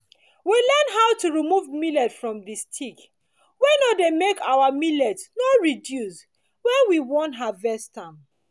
we learn how to remove millet from the stick wey no dey make our millet no reduce when we won harvest am